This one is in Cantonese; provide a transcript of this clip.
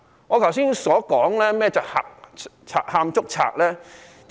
我剛才為甚麼說是賊喊捉賊呢？